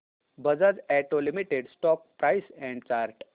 Bajaj auto limited stock price and chart